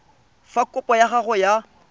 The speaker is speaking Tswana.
fa kopo ya gago ya